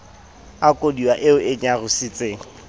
a koduwa eo e nyarositseng